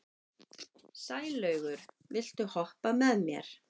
Sælaugur, viltu hoppa með mér?